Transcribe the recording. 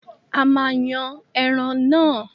A máa yan ẹran náà.